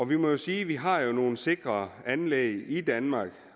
vi må jo sige at vi har nogle sikre anlæg i danmark